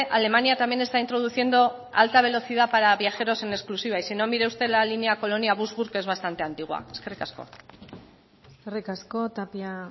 alemania también está introduciendo alta velocidad para viajeros en exclusiva y si no mire usted la línea colonia que es bastante antigua eskerrik asko eskerrik asko tapia